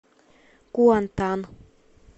куантан